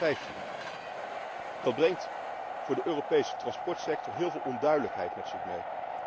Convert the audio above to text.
2015. Dat brengt voor de Europese transportsector heel veel onduidelijkheid met zich mee.